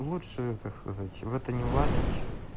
лучше как сказать в это не влазить